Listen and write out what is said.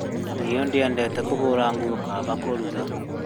Niĩ ndiendete kũhũra nguo kaba kũruga